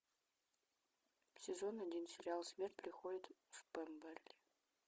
сезон один сериал смерть приходит в пемберли